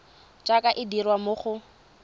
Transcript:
jaaka e dirwa mo go